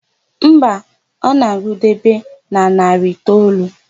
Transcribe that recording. Mba, ọ na-agụdebe na narị itoolu.